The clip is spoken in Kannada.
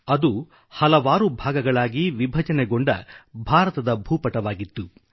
ಅದು ಹಲವಾರು ಭಾಗಗಳಾಗಿ ವಿಭಜಿತಗೊಂಡ ಭಾರತದ ಭೂಪಟವಾಗಿತ್ತು